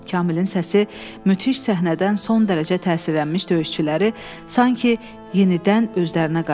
Kamilin səsi müthiş səhnədən son dərəcə təsirlənmiş döyüşçüləri sanki yenidən özlərinə qaytardı.